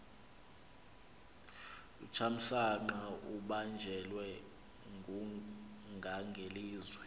uthamsanqa ubanjelwe ngungangelizwe